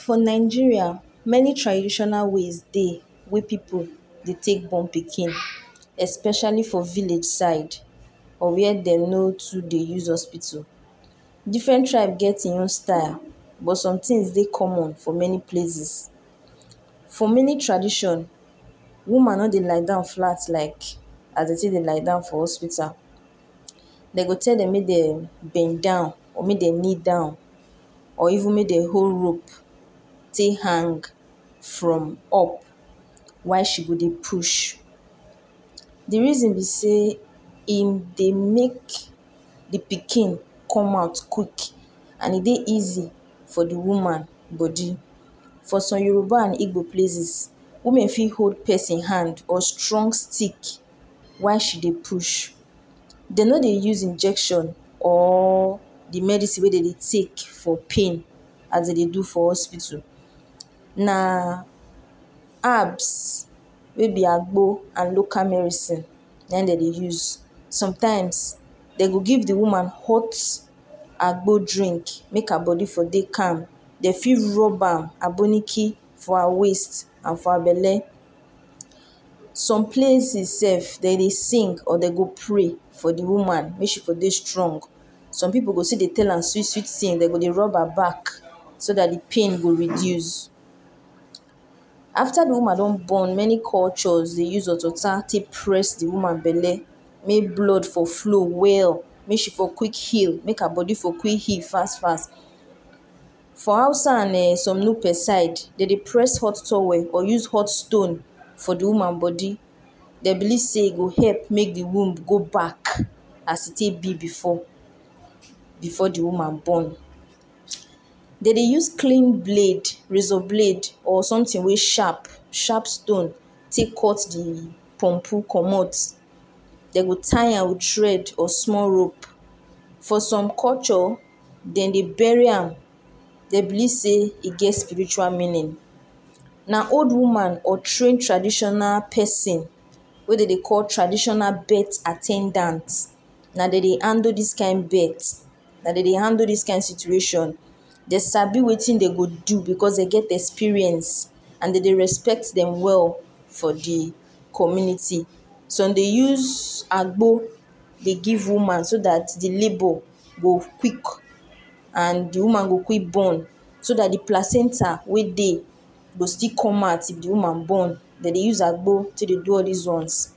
For Nigeria many traditional ways dey, wey pipu de tek born pikin de tek born pikin especially for village side, or where dey not oo de use hospital. Different tribe get e own style but sometin de common for many places. For many tradition, woman no de lie down flat like, how dey take dey lie down for hospital dey go tell them may de bend down or may de kneel down or even may dey hold rope, dey hang from up while she go de push. Di reason be say em dey make di pikin come out quick and e dey easy for di woman bodi. For some Yoruba and Igbo places women feel hold pesin hand or strong stick while she dey push. Dey no dey use injection or di medisin we de dey tek for pain, as dey de do for hospital, na herbs wey be agbo and local medisins na im dey de use. Sometimes dey go give di woman hot agbo drink mek her belle for de calm, dey fit rub am aboniki for her waist and for her belle. Some places sef de dey sing or de go pray for di woman may she go dey strong. Some pipu go see di tell am sweet sweet tin dey go de rub her back so di pain go reduce. After di woman don born many culture de use hot water to press di woman belle, may blood for flow well may she for quick heal make her bodi for quick heal fass fass. For Hausa and eh some Nupe side de dey press hot towel or use hot stone for di woman bodi, dey believe sey e go help mek di womb go back as e take be before, before di woman born. Dey de use clean blade razor blade or something we sharp, sharp stone tek cut di compu commot dey go tie am with thread or small rope. For some culture, dem dey buried am dey believe sey it get spiritual meaning. Na old woman or trained traditional pesin wey dey de call traditional birth at ten dant, na dem dey handle dis kind birth na dem dey handle dis kind situation, dey sabi wetin dey go do becos dey don experienced and dey de respect dem well for di community. Some dey use agbo de give woman so dat di labor go quick and di woman go quick born so dat di placenta wey dey go still com out. If di woman born, de dey use agbo take do this ones.